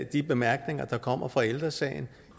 de bemærkninger der kommer fra ældre sagen